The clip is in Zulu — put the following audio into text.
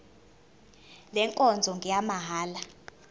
le nkonzo ngeyamahala